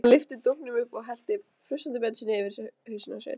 Hann lyfti dunknum upp og hellti frussandi bensíni yfir hausinn á sér.